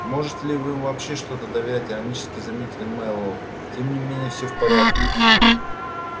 можете ли вы им вообще в что-то доверять иронически заметил мэллоу тем не менее всё в порядке